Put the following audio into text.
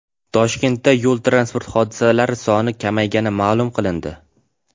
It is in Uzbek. Toshkentda yo‘l-transport hodisalari soni kamaygani ma’lum qilindi.